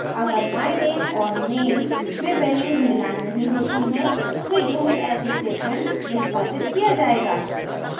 अगर myname और name में values मिलान नहीं होती हैं तो यह else statement निष्पादित किया जायेगा